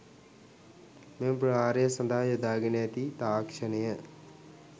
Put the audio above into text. මෙම ප්‍රහාරය සදහා යොදාගෙන ඇති තාක්ශනය